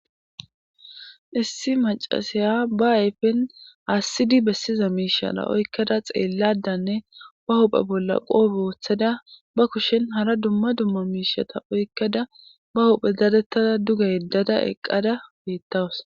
Issi macasiya ba ayfen aassidi bessiza miishala oykkada xeelladanne ba huphe bolla qoope wooththada ba kushen hara dumma dumma miishata oykkada ba huphe dadettada duga yeddada eqqada beettawus.